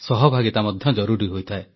ସହଭାଗିତା ମଧ୍ୟ ଜରୁରୀ ହୋଇଥାଏ